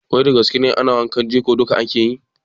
Wai da gaske ne in ana wankan jego duka ake yi?